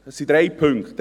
Es sind drei Punkte.